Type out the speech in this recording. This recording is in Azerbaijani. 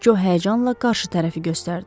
Co həyəcanla qarşı tərəfi göstərdi.